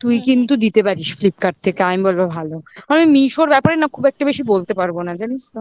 তুই কিন্তু দিতে পারিস flipkart থেকে আমি বলবো ভালো আমি meesho র ব্যাপারে না খুব একটা বেশি বলতে পারবো না জানিস তো